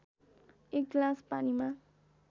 एक गिलास पानीमा